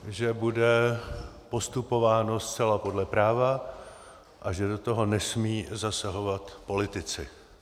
Že bude postupováno zcela podle práva a že do toho nesmí zasahovat politici.